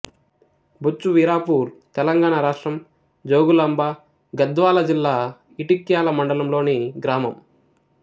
బొచ్చువీరాపూర్ తెలంగాణ రాష్ట్రం జోగులాంబ గద్వాల జిల్లా ఇటిక్యాల మండలంలోని గ్రామం